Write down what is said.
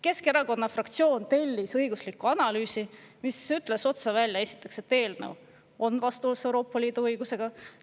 Keskerakonna fraktsioon tellis õigusliku analüüsi, milles öeldi otse välja, et eelnõu on vastuolus Euroopa Liidu õigusega.